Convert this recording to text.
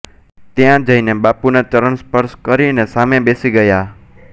ત્યાં જઈને બાપુનાં ચરણસ્પર્શ કરીને સામે બેસી ગયા